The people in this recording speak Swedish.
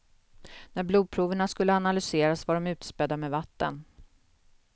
När blodproverna skulle analyseras var de utspädda med vatten.